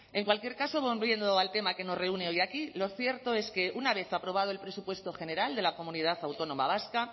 en cualquier caso volviendo al tema que nos reúne hoy aquí lo cierto es que una vez aprobado el presupuesto general de la comunidad autónoma vasca